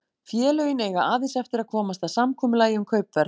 Félögin eiga aðeins eftir að komast að samkomulagi um kaupverð.